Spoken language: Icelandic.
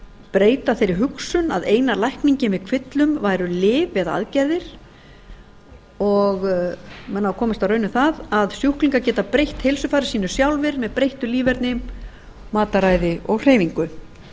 breyta þeirri hugsun að eina lækningin við kvillum væru lyf eða aðgerðir og menn hafa komist að raun um að sjúklingar geta breytt heilsufari sínu sjálfir með breyttu líferni mataræði og hreyfingu